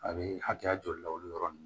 A bɛ hakɛya joli la olu yɔrɔ ninnu